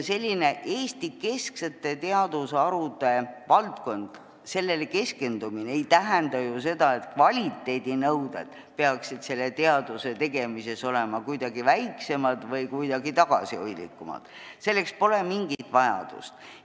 Sellistele Eesti-kesksetele teadusharudele keskendumine ei tähenda ju seda, et kvaliteedinõuded peaksid olema kuidagi tagasihoidlikumad, selleks pole mingit vajadust.